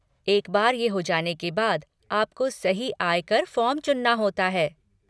एक बार ये हो जाने के बाद आपको सही आय कर फ़ॉर्म चुनना होता है।